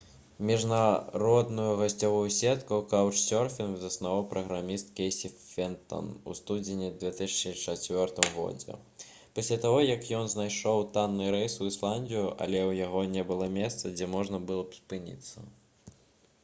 міжнародную гасцявую сетку «каўчсёрфінг» заснаваў праграміст кейсі фентан у студзені 2004 г. пасля таго як ён знайшоў танны рэйс у ісландыю але ў яго не было месца дзе можна было б спыніцца